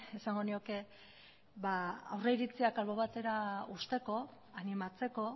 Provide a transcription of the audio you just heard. esango nioke aurreritziak albo batera uzteko animatzeko